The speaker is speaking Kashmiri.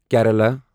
کیرالہَ